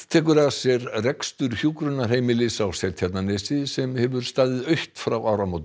tekur að sér rekstur hjúkrunarheimilis á Seltjarnarnesi sem hefur staðið autt frá áramótum